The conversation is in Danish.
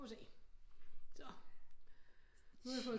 Nu må vi se så nu har jeg fået